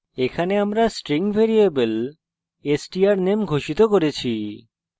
এখানে আমরা string variable strname ঘোষিত করেছি